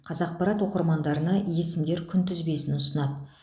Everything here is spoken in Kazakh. қазақпарат оқырмандарына есімдер күнтізбесін ұсынады